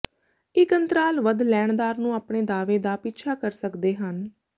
ਇੱਕ ਅੰਤਰਾਲ ਵੱਧ ਲੈਣਦਾਰ ਨੂੰ ਆਪਣੇ ਦਾਅਵੇ ਦਾ ਪਿੱਛਾ ਕਰ ਸਕਦੇ ਹਨ